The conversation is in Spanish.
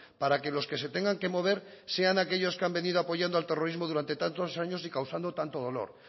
para que los que se tengan que mover sean aquellos que han venido apoyando al terrorismo durante tantos años y causando tanto dolor